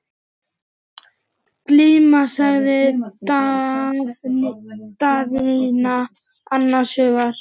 Glíma, sagði Daðína annars hugar.